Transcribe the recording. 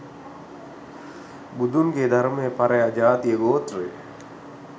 බුදුන්ගේ ධර්මය පරයා ජාතියගෝත්‍රය